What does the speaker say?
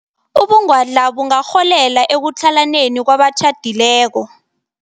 Ubungwadla bungarholela ekutlhalaneni kwabatjhadileko.